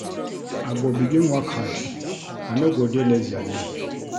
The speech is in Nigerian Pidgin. I go begin work hard, I no go dey lazy again.